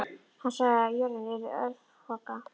Hann sagði að jörðin yrði örfoka.